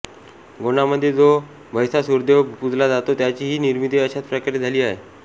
गोंडामध्ये जो भैसासुरदेव पूजला जातो त्याचीही निर्मिती अशाच प्रकारे झाली आहे